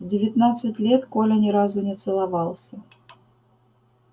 в девятнадцать лет коля ни разу не целовался